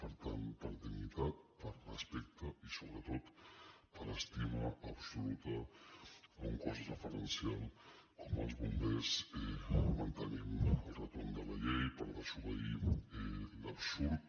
per tant per dignitat per respecte i sobretot per estima absoluta a un cos referencial com els bombers mantenim el retorn de la llei per desobeir l’absurd